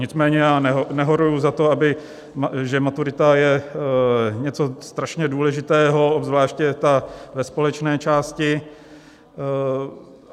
Nicméně já nehoruji za to, že maturita je něco strašně důležitého, obzvláště ta ve společné části.